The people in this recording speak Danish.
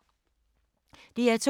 DR2